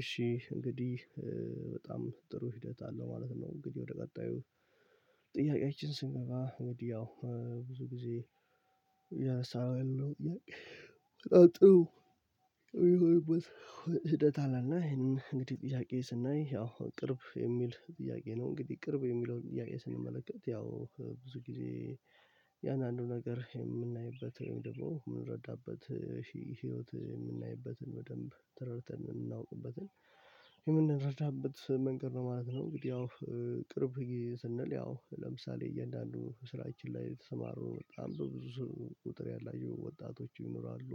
እሺ እንግዲህ በጣም ጥሩ ሂደት አለው ማለት ነው። እንግዲህ ወደ ቀጣዩ ጥያቄያችን ስንገባ እንግዲህ ያው ብዙ ጊዜ እያነሳነው ያለው ጥያቄ በጣም ጥሩ ሂደት አለና ይሄንን እንግዲህ ጥያቄ ስናይ ያው ቅርብ የሚል ጥያቄ ነው እንግዲህ ቅርብ የሚለውን ጥያቄ ስንመለከት ያው ብዙ ጊዜ እያንዳ አንዱ ነገር የምናይበት ወይም ደግሞ የምንረዳበት ህይወት የምናይበትን በደንብ ተረድተን የምናውቅበትን የምንረዳበት መንገድ ነው ማለት ነው። እንግዲህ ያው ቅርብ ጊዜ ስንል ያው ለምሳሌ እያንዳንዱ ስራችን ላይ የተሰማሩ በጣም በብዙ ቁጥር ያላቸው ወጣቶች ይኖራሉ።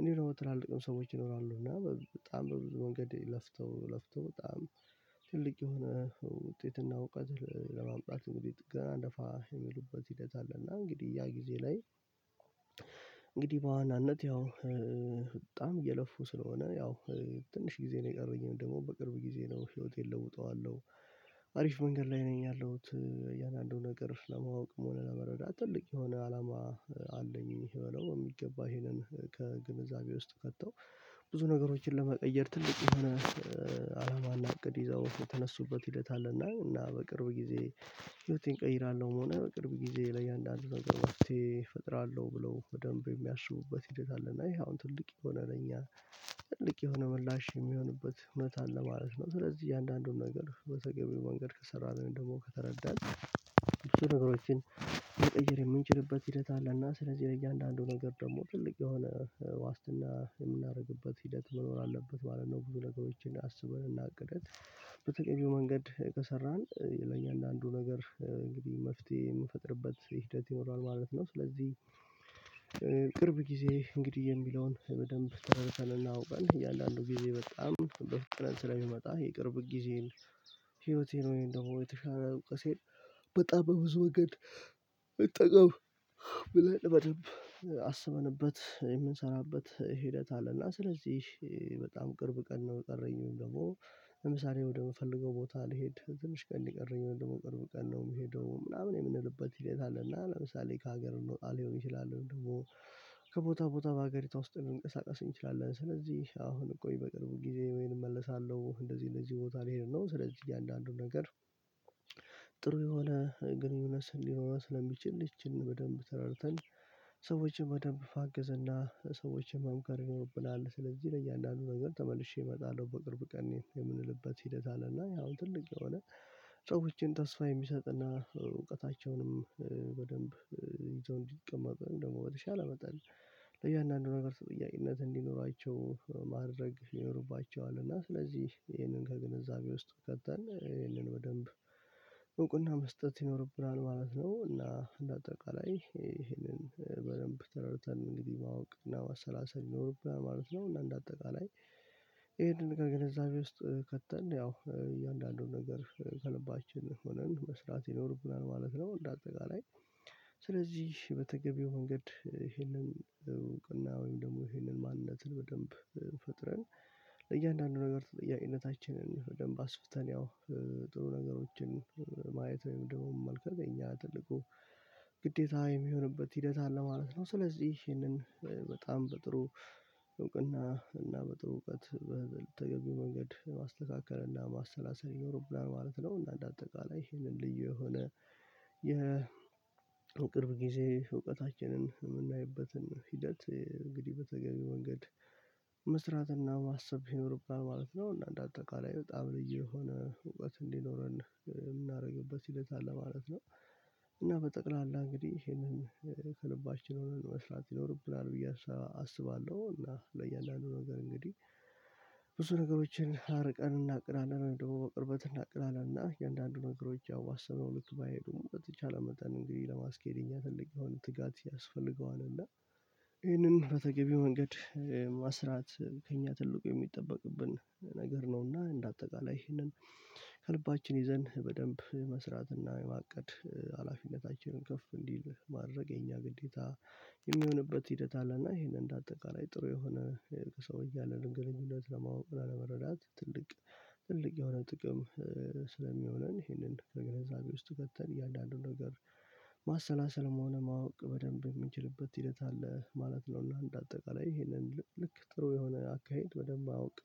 እንዲሁም ደግሞ ትላልቅም ሰዎች ይኖራሉ እና በጣም በብዙ መንገድ ለፍተው ለፍተው በጣም ትልቅ የሆነ ውጤትና እውቀት ለማምጣት እንግዲህ ጥ ቀና ደፋ የሚሉበት ሂደት አለና እንግዲህ ያ ጊዜ ላይ እንግዲህ በዋናነት ያው በጣም እየለፉ ስለሆነ ያው ትንሽ ጊዜ ነው የቀረኝ ደግሞ በቅርብ ጊዜ ነው ህይወቴን እለውጠዋለሁ። አሪፍ መንገድ ላይ ነኝ ያለሁት እያንዳንዱ ነገር ለማወቅ መሆን ለመረዳት ትልቅ የሆነ አላማ አለኝ ብለው በሚገባ ይሄንን ከግንዛቤ ውስጥ ከተው ብዙ ነገሮችን ለመቀየር ትልቅ የሆነ አላማና እቅድ ይዘው የተነሱበት ሂደት አለና። እና በቅርብ ጊዜ ህይወቴን እቀይራለሁም ሆነ በቅርብ ጊዜ ለእያንዳንዱ ነገር መፍትሄ እፈጥራለሁ ብለው በደንብ የሚያስቡበት ሂደት አለ እና ይሄ አሁን ትልቅ የሆነ ለኛ ትልቅ የሆነ ምላሽ የሚሆንበት እውነት አለ ማለት ነው። ስለዚህ እያንዳንዱን ነገር በተገቢው መንገድ ከሰራን ደግሞ ከተረዳን ብዙ ነገሮችን መቀየር የምንችልበት ሂደት አለና ስለዚህ ለእያንዳንዱ ነገር ደግሞ ትልቅ የሆነ ዋስትና የምናደርግበት ሂደት መኖር አለበት ማለት ነው። ብዙ ነገሮችን አስበን እና አቅደን በተለዩ መንገድ ከሰራን ለእያንዳንዱ ነገር እንግዲህ መፍትሄ የምንፈጥርበት ሂደት ይኖራል ማለት ነው። ስለዚህ ቅርብ ጊዜ እንግዲህ የሚለውን በደንብ ተረድተንና አውቀን እያንዳንዱ ጊዜ በጣም በ ፍጥነት ስለሚመጣ የቅርብ ጊዜን ህይወቴን ወይም ደግሞ የተሻለ እውቀቴን በጣም በብዙ መንገድ ልጠቀም ብለን በደንብ አስበንበት የምንሰራበት ሂደት አለና ስለዚህ በጣም ቅርብ ቀን ነው የቀረኝ ወይም ደግሞ ለምሳሌ ወደምፈልገው ቦታ ልሄድ ትንሽ ቀን ነው የቀረኝ ወይም ደግሞ ቅርብ ቀን ነው የምሄደው ምናምን የምንልበት ሂደት አለና ለምሳሌ ከሀገር ልንወጣ ሊሆን ይችላል። ወይም ደግሞ ከቦታ ቦታ በሀገሪቷ ውስጥ ልንቀሳቀስ እንችላለን ስለዚህ አሁን ቆይ በቅርቡ ጊዜ ወይን እመለሳለሁ እንደዚህ እንደዚህ ቦታ ልሄድ ነው ስለዚህ እያንዳንዱን ነገር ጥሩ የሆነ ግንኙነት ስ ሊኖረን ስለሚችል ይችል በደንብ ተረድተን ሰዎችን በደንብ ማገዘ እና ሰዎችን መምከር ይኖርብናል። ስለዚህ ለእያንዳንዱ ነገር ተመልሼ እመጣለሁ በቅርብ ቀን የምንልበት ሂደት አለና ያው ትልቅ የሆነ ሰዎችን ተስፋ የሚሰጥና እውቀታቸውንም በደንብ ይዘው እንዲቀመጥ ወይም ደግሞ በተቻለ መጠን ለእያንዳንዱ ነገር ተጥያቄነት እንዲኖራቸው ማድረግ ይኖርባቸዋል እና ስለዚህ ይሄንን ከግንዛቤ ውስጥ ከተን ይሄንን በደንብ እውቅና መስጠት ይኖርብናል ማለት ነው። እና እንደ አጠቃላይ ይሄንን በደንብ ተረድተን እንግዲህ ማወቅ እና ማሰላሰል ይኖርብናል ማለት ነው እና እንደ አጠቃላይ ይሄንን ከገንዛቤ ውስጥ ከተን ያው እያንዳንዱን ነገር ከልባችን ሆነን መስራት ይኖርብናል ማለት ነው። እንደ አጠቃላይ ስለዚህ በተገቢው መንገድ ይሄንን እውቅና ወይም ደግሞ ይሄንን ማንነትን በደንብ ፈጥረን ለእያንዳንዱ ነገር ተጠያቂነታችንን በደንብ አስፍተን ያው ጥሩ ነገሮችን ማየት ወይም ደግሞ መመልከት የእኛ ትልቁ ግዴታ የሚሆንበት ሂደት አለ ማለት ነው። ስለዚህ ይህንን በጣም በጥሩ እውቅና እና በጥሩ እውቀት በተገቢው መንገድ ማስተካከል እና ማሰላሰል ይኖርብናል ማለት ነው። እና እንደ አጠቃላይ ይሄንን ልዩ የሆነ የቅርብ ጊዜ እውቀታችንን የምናይበትን ሂደት እንግዲህ በተገቢ መንገድ መስራትና ማሰብ ይኖርብናል ማለት ነው እና እንደ አጠቃላይ በጣም ልዩ የሆነ እውቀት እንዲኖረን የምናደርግበት ሂደት አለ ማለት ነው። እና በጠቅላላ እንግዲህ ይሄንን ከልባችን ሆነን መስራት ይኖርብናል ብዬ አ አስባለሁ እና ለእያንዳንዱ ነገር እንግዲህ ብዙ ነገሮችን አርቀን እናቅዳለን ወይም ደግሞ በቅርበት እናቅዳለን እና እንደአንዱ ነገሮች ያው ባሰበነው ልክ ባይሄዱም በተቻለ መጠን እንግዲህ ለማስኬድ እኛ ትልቅ የሆነ ትጋት ያስፈልገዋል። እና ይህንን በተገቢ መንገድ መስራት ከእኛ ትልቁ የሚጠበቅብን ነገር ነውና እንደ አጠቃላይ ይህንን ከልባችን ይዘን በደንብ የመስራትና የማቀድ ሃላፊነታችን ከፍ እንዲል ማድረግ የኛ ግዴታ የሚሆንበት ሂደት አለ። እና ይሄንን እንደ አጠቃላይ ጥሩ የሆነ ከሰዎች ጋር ያለንን ግንኙነት ለማወቅ እና ለመረዳት ትልቅ ትልቅ የሆነ ጥቅም ስለሚሆነን ይህንን ከግንዛቤ ውስጥ ከተን እያንዳንዱን ነገር ማሰላሰልም ሆነ ማወቅ በደንብ የምንችልበት ሂደት አለ ማለት ነው። እና እንደ አጠቃላይ ይሄንን ልክ ጥሩ የሆነ አካሄድ በደንብ አውቀ